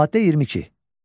Maddə 22.